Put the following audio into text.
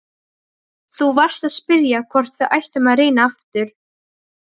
Þú varst að spyrja hvort við ættum að reyna aftur.